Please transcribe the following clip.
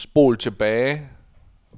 spol tilbage